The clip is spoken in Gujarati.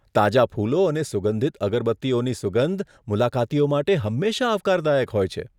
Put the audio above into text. તાજા ફૂલો અને સુગંધિત અગરબત્તીઓની સુગંધ મુલાકાતીઓ માટે હંમેશા આવકારદાયક હોય છે.